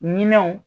Minɛnw